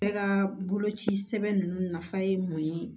Bɛɛ ka boloci sɛbɛn ninnu nafa ye mun ye